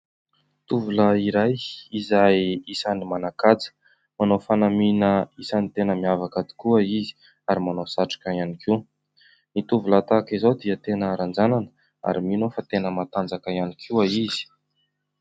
Tovolahy iray izay isan'ny manan-kaja ; manao fanamiana isan'ny tena miavaka tokoa izy ary manao satroka ihany koa ; ny tovolahy tahaka izao dia tena ranjananà ary mino aho fa tena matanjaka ihany koa izy.